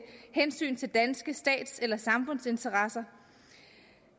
hensyn til danske stats eller samfundsinteresser